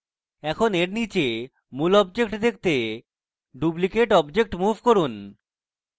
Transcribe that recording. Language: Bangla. এখন এর নীচে মূল object দেখতে ডুপ্লিকেট object move করুন